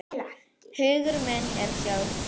Hugur minn er hjá þér.